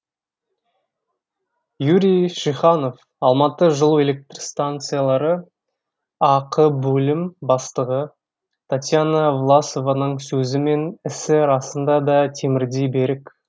юрий шиханов алматы жылу электр станциялары ақ бөлім бастығы татьяна власованың сөзі мен ісі расында да темірдей берік